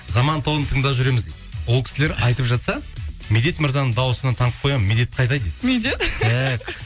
заман тобын тыңдап жүреміз дейді ол кісілер айтып жатса медет мырзаның дауысынан танып қоямын медет қайда дейді медет